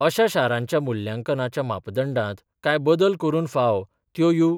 अशा शारांच्या मुल्यांकनाच्या मापदंडात काय बदल करून फांव त्यो यु.